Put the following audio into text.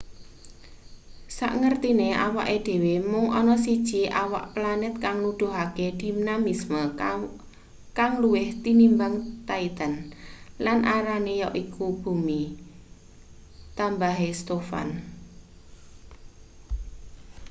sakngertine awake dhewe mung ana siji awak planet kang nuduhake dinamisme kang luwih tinimbang titan lan arane yaiku bumi tambahe stofan